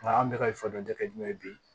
Nka an bɛ ka fɔ dɛ jumɛn bi